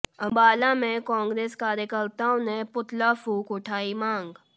अंबाला में कांग्रेस कार्यकर्ताओं ने पुतला फूंक उठाई मांग